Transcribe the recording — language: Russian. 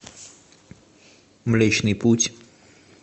млечный путь